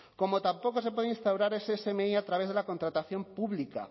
como tampoco se puede instaurar ese smi a través de la contratación pública